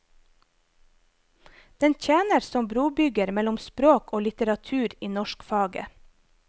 Den tjener som brobygger mellom språk og litteratur i norskfaget.